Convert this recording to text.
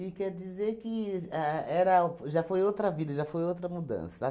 quer dizer que ahn era já foi outra vida, já foi outra mudança.